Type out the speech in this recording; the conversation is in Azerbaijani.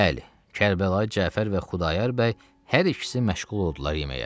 Bəli, Kərbəlayı Cəfər və Xudayar bəy hər ikisi məşğul oldular yeməyə.